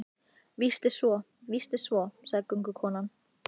Víst er svo, víst er svo, sagði göngukonan.